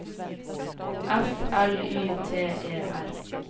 F L Y T E R